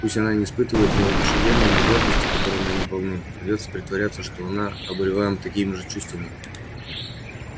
пусть она не испытывает ни воодушевления ни гордости которыми они полны придётся притворяться что и она обуреваема такими же чувствами